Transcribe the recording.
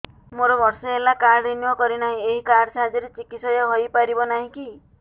ମୋର ବର୍ଷେ ହେଲା କାର୍ଡ ରିନିଓ କରିନାହିଁ ଏହି କାର୍ଡ ସାହାଯ୍ୟରେ ଚିକିସୟା ହୈ ପାରିବନାହିଁ କି